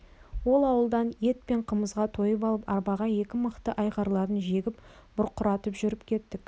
ол ауылдан ет пен қымызға тойып алып арбаға екі мықты айғырларын жегіп бұрқыратып жүріп кеттік